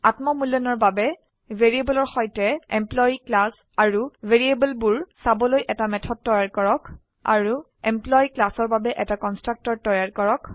আত্ম মূল্যায়নৰ বাবে ভ্যাৰিয়েবলৰ সৈতে এমপ্লয়ী ক্লাস আৰু ভ্যাৰিয়েবলবোৰ চাবলৈ এটা মেথড তৈয়াৰ কৰক আৰু এমপ্লয়ী ক্লাসৰ বাবে এটা কনস্ট্ৰাক্টৰ তৈয়াৰ কৰক